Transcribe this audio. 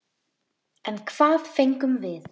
En hvað fengum við?